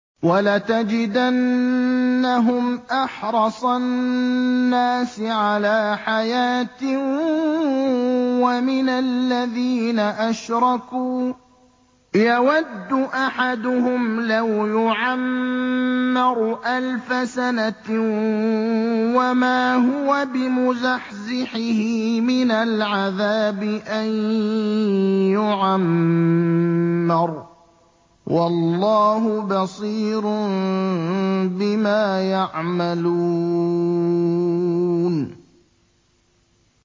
وَلَتَجِدَنَّهُمْ أَحْرَصَ النَّاسِ عَلَىٰ حَيَاةٍ وَمِنَ الَّذِينَ أَشْرَكُوا ۚ يَوَدُّ أَحَدُهُمْ لَوْ يُعَمَّرُ أَلْفَ سَنَةٍ وَمَا هُوَ بِمُزَحْزِحِهِ مِنَ الْعَذَابِ أَن يُعَمَّرَ ۗ وَاللَّهُ بَصِيرٌ بِمَا يَعْمَلُونَ